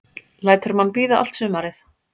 Lætur mann bíða allt sumarið.